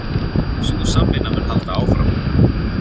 Sú samvinna mun halda áfram